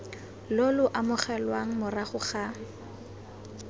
lo lo amogelwang morago ga